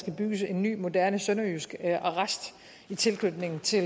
at bygge en ny moderne sønderjysk arrest i tilknytning til